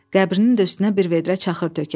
Qəbrinin də üstünə bir vedrə çaxır tökək.